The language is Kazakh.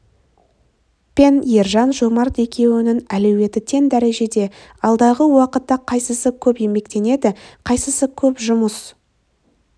пен ержан жомарт екеуінің әлеуеті тең дәрежеде алдағы уақытта қайсысы көп еңбектенеді қайсысы көп жұмыс